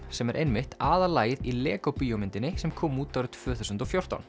sem er einmitt aðallagið í Lego bíómynd sem kom út árið tvö þúsund og fjórtán